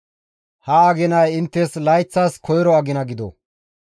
«Ha aginay inttes layththas koyro agina gido;